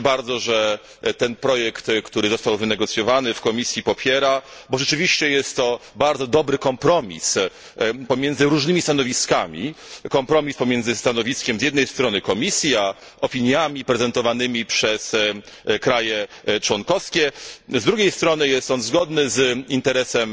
Cieszę się bardzo, że popiera on wynegocjowany w komisji projekt, bo rzeczywiście jest to bardzo dobry kompromis pomiędzy różnymi stanowiskami kompromis pomiędzy stanowiskiem z jednej strony Komisji, a opiniami prezentowanymi przez państwa członkowskie, z drugiej strony jest on zgodny z interesem